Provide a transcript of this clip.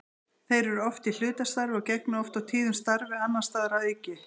Þeir eru oft í hlutastarfi og gegna oft og tíðum starfi annars staðar að auki.